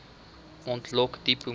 ontlok diep emoseis